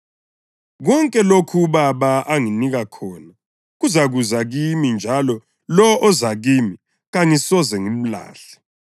Konke lokho uBaba anginika khona kuzakuza kimi njalo lowo oza kimi kangisoze ngimlahle.